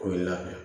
Ko i labɛn